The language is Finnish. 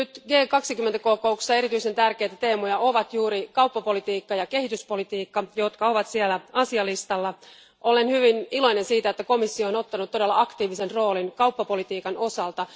G20 kokouksen erityisen tärkeitä teemoja ovat nyt juuri kauppapolitiikka ja kehityspolitiikka, jotka ovat asialistalla. Olen hyvin iloinen siitä, että komissio on ottanut todella aktiivisen roolin kauppapolitiikan osalta.